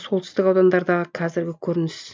солтүстік аудандардағы қазіргі көрініс